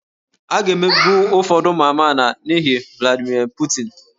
A ga-emegbu ụfọdụ ụmụ amaala n'ihi Vladimir Putin